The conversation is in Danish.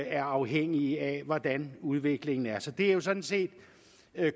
er afhængige af hvordan udviklingen er så det er sådan set